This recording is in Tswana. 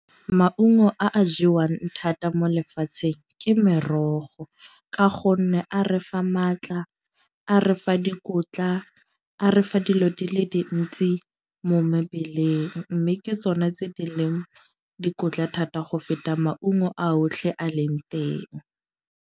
Maungo a a jewang thata mo lefatsheng ke merogo. Ka gonne a re fa maatla, a re fa dikotla, a refa dilo di le dintsi mo mebeleng. Mme ke tsone tse di leng dikotla thata go feta maungo a otlhe a leng teng.